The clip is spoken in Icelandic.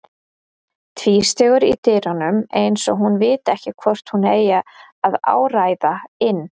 Tvístígur í dyrunum eins og hún viti ekki hvort hún eigi að áræða inn.